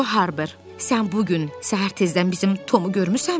Co Harber, sən bu gün səhər tezdən bizim Tomu görmüsənmi?